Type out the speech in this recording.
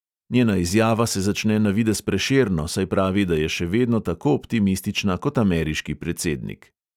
Njena izjava se začne navidez prešerno, saj pravi, da je še vedno tako optimistična kot ameriški predsednik.